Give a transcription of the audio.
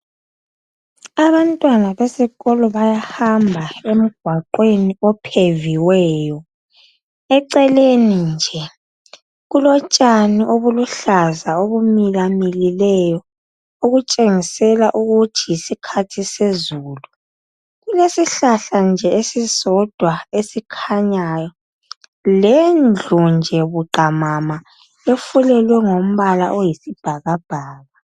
Abantwana besikolo bayahamba emgwaqweni opheviweyo, eceleni kulotshani nje obuluhlaza obumilamilileyo okutshengisa ukuthi yisikhathi sezulu. Kulesihlahla esisodwa lendlu nje efulelwe ngombala owesibhakabhaka.